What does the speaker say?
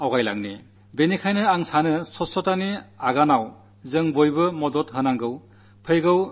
എല്ലാ പൌരന്മാരും ഇക്കാര്യത്തിൽ എത്രത്തോളം പങ്കുവഹിക്കാമോ അത്രത്തോളം പങ്കുചേരുമെന്നാണ് ഞാനാശിക്കുന്നത്